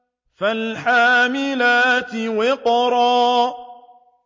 فَالْحَامِلَاتِ وِقْرًا